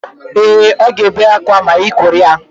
Ee, ọ ga-ebe akwa ma ị kuru ya